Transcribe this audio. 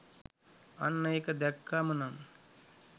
අන්න ඒක දැක්කාම නම්